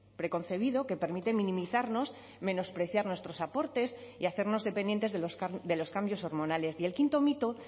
preconcebido que permite minimizarnos menospreciar nuestros aportes y hacernos dependientes de los cambios hormonales y el quinto mito